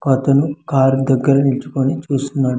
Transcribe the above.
ఒక అతను కార్ దెగ్గర నిచుకొని చూస్తున్నాడు.